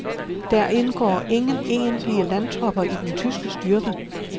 Der indgår ingen egentlige landtropper i den tyske styrke.